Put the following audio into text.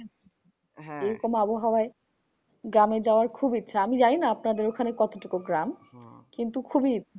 এইরকম আবহাওয়ায় গ্রামে যাওয়ার খুব ইচ্ছা। আমি জানিনা আপনাদের ওখানে কতটুকু গ্রাম? কিন্তু খুবিই